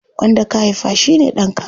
Wanda ka haifa shine ɗanka.